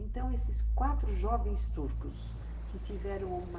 Então, esses quatro jovens turcos que tiveram uma